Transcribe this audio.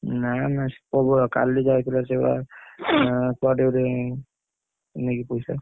ନା ନା ସିଏ ପ୍ରବଳ କାଲି ଯାଇଥିଲା ସିଏ ବା କୁଆଡେ ଗୋଟେ ନେଇକି ପଇସା।